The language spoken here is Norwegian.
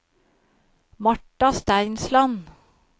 Marta Steinsland